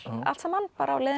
allt saman á leiðinni